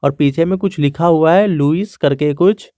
पीछे में कुछ लिखा हुआ है लुइस करके कुछ।